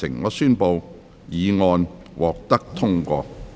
我宣布議案獲得通過。